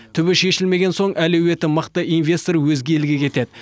түбі шешілмеген соң әлеуеті мықты инвестор өзге елге кетеді